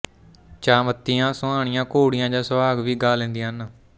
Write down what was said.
ਚਾਅ ਮੱਤੀਆਂ ਸੁਆਣੀਆਂ ਘੋੜੀਆਂ ਜਾਂ ਸੁਹਾਗ ਵੀ ਗਾ ਲੈਂਦੀਆਂ ਹਨ